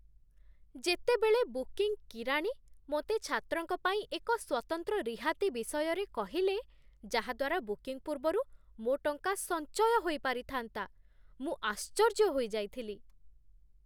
ଯେତେବେଳେ ବୁକିଂ କିରାଣୀ ମୋତେ ଛାତ୍ରଙ୍କ ପାଇଁ ଏକ ସ୍ୱତନ୍ତ୍ର ରିହାତି ବିଷୟରେ କହିଲେ, ଯାହାଦ୍ଵାରା ବୁକିଂ ପୂର୍ବରୁ ମୋ ଟଙ୍କା ସଞ୍ଚୟ ହୋଇପାରିଥାନ୍ତା, ମୁଁ ଆଶ୍ଚର୍ଯ୍ୟ ହୋଇଯାଇଥିଲି